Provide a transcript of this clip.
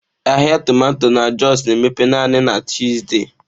Ahịa tomato na Jos na-emepe naanị na Tuzdee.